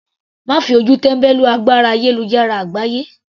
Má fi ojú tẹ́mbẹ́lú agbára ayélujára àgbáyé.